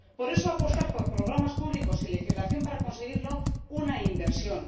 por eso, apostar por programas públicos y legislación para conseguirlo, una inversión